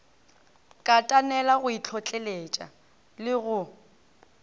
katanela go itlhotleletša le go